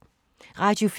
Radio 4